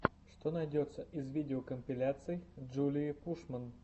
что найдется из видеокомпиляций джулии пушман